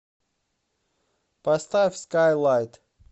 поставь скайлайт